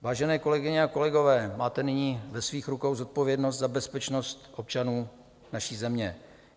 Vážené kolegyně a kolegové, máte nyní ve svých rukou zodpovědnost za bezpečnost občanů naší země.